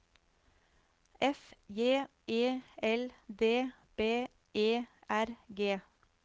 F J E L D B E R G